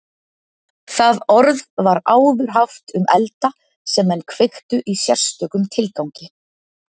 Það orð var áður haft um elda sem menn kveiktu í sérstökum tilgangi.